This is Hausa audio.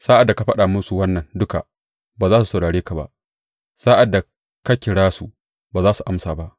Sa’ad da ka faɗa musu wannan duka, ba za su saurare ka ba; sa’ad da ka kira su, ba za su amsa ba.